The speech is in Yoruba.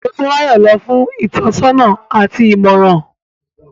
Motunrayo lọ fun itọnisọna ati imọran